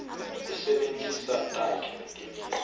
kusebentisa takhi netimiso